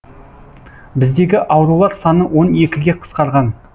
біздегі аурулар саны он екіге қысқарған